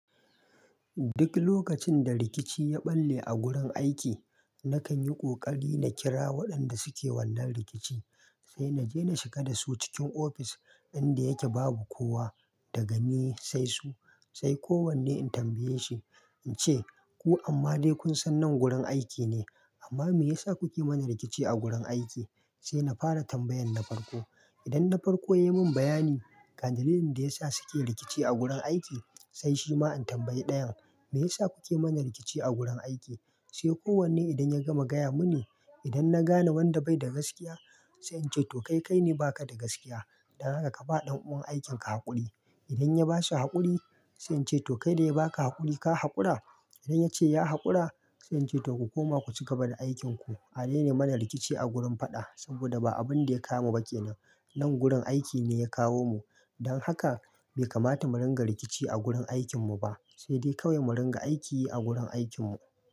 Duk lokacin da rikici ya ɓalle a gurin aiki, nakan yi ƙoƙari na kira waɗanda suke wannan rikici, sai na je na shiga dasu cikin ofis inda yake babu kowa daga ni sai su. Sai kowanne in tambaye shi in ce "Ku amma dai kun san nan gurin aiki ne, amma me yasa kuke mana rikici a gurin aiki?" Sai na fara tambayan na farko. Idan na farko ya yi min bayani kan dalilin da ya sa suke rikici a gurin aiki, sai shi ma in tambaye ɗayan, "Me yasa kuke mana rikici a gurin aiki?" Sai kowanne idan ya gama gaya mini, idan na gane wanda bai da gaskiya, sai in ce to kai kai ne baka da gaskiya, dan haka ka ba ɗan uwan aikin ka haƙuri. Idan ya ba shi haƙuri, sai in ce to kai dai baka haƙuri, ka haƙura? Idan ya ce ya haƙura, sai in ce to ku koma ku cigaba da aikinku. A daina mana rikici a gurin faɗa, saboda ba abun da ya kawo mu ba kenan. Nan gurin aiki ne ya kawo mu. Don haka bai kamata mu ringa rikici a gurin aikin mu ba, sai dai kawai mu ringa aiki a gurin aikin mu.